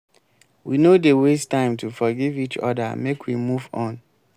we no dey waste time to forgive each oda make we move on.